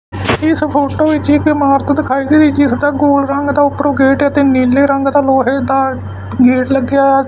ਇਸ ਫੋਟੋ ਵਿੱਚ ਇੱਕ ਇਮਾਰਤ ਦਿਖਾਈ ਗਈ ਜਿਸ ਦਾ ਗੋਲਡ ਰੰਗ ਦਾ ਉਪਰੋਂ ਗੇਟ ਐ ਅਤੇ ਨੀਲੇ ਰੰਗ ਦਾ ਲੋਹੇ ਦਾ ਗੇਟ ਲੱਗਿਆ ਹੋਇਆ।